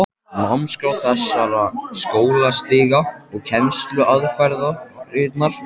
Námskrá þessara skólastiga og kennsluaðferðirnar eru um margt ólíkar.